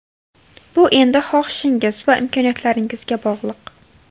Bu endi xohishingiz va imkoniyatlaringizga bog‘liq.